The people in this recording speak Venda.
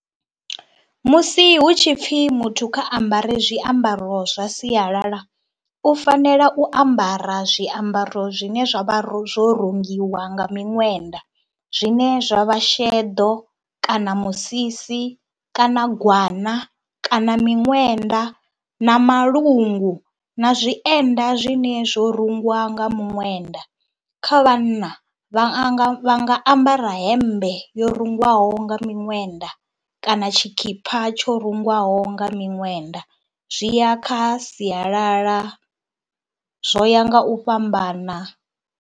Musi hu tshi pfhi muthu kha a ambare zwiambaro zwa sialala, u fanela u ambara zwiambaro zwine zwa vha ro zwo rungiwa nga miṅwenda, zwine zwa vha sheḓo kana musisi kana gwana kana miṅwenda na malungu na zwienda zwine zwo rungwa nga muṅwenda. Kha vhanna vha a nga vha nga ambara hemmbe yo rungwaho nga miṅwenda kana tshikhipha tsho rungwaho nga miṅwenda, zwi ya kha sialala, zwo ya nga u fhambana.